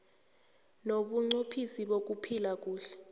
nobunqophisi bokuphila kuhle